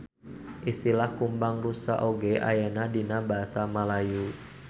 Istilah kumbang rusa oge ayana dina basa Malayu.